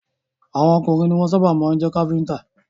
Àwọn ọkùnrin ni wọ́n sábà máa jẹ́ Kápẹ́ńtà.